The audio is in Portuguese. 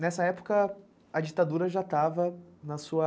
Nessa época, a ditadura já estava na sua...